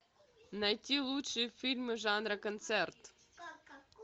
найти лучшие фильмы жанра концерт